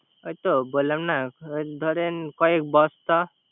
এইতো বললাম না ধরেন কয়েক বস্তা